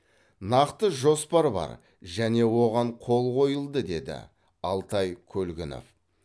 нақты жоспар бар және оған қол қойылды деді алтай көлгінов